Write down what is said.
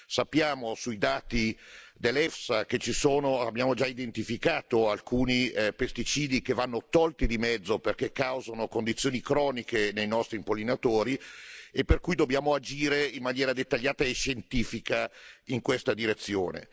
Sappiamo dai dati dell'EFSA che ci sono, abbiamo già identificato alcuni pesticidi che vanno tolti di mezzo perché causano condizioni croniche nei nostri impollinatori, per cui dobbiamo agire in maniera dettagliata e scientifica in questa direzione.